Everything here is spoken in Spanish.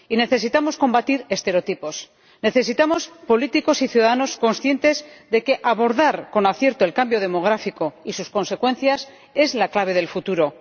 Necesitamos combatir estereotipos, necesitamos políticos y ciudadanos conscientes de que abordar con acierto el cambio demográfico y sus consecuencias es la clave del futuro.